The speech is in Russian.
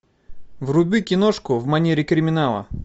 вруби киношку в манере криминала